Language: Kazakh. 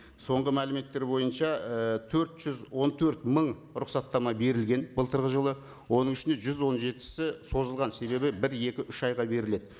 соңғы мәліметтер бойынша і төрт жүз он төрт мың рұқсаттама берілген былтырғы жылы оның ішінде жүз он жетісі созылған себебі бір екі үш айға беріледі